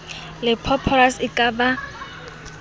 le phosphorus e ka ba